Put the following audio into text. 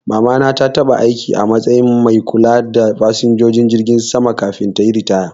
Mama na ta taba aiki a matsayin mai kula da fasinjojin jirgi sama kafin tayi ritaya